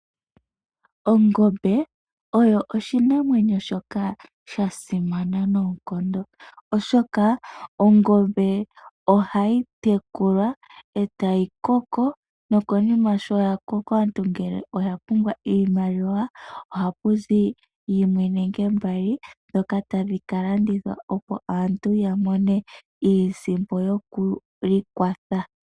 Ongombe oyo oshinamwenyo shoka shasimana noonkondo oshoka ongombe ohayi tekulwa etayi koko nokonima sho yakoka aantu ngele oya pumbwa iimaliwa ohapuzi yimwe nenge mbali dhoka tadhi kalandithwa opo aantu yamone iisimpo yokwiikwatha.